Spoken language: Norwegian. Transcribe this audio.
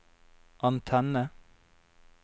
antenne